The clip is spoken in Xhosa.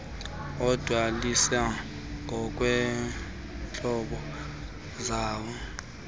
adweliswa ngokweentlobo zawo